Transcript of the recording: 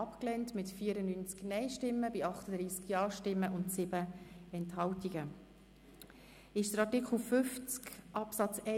Abstimmung (Art. 50 Abs. 1; Rückweisungsantrag Machado Rebmann, Bern [GaP])